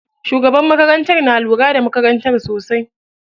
Shugabar makarantar na lura da makarantar sosai.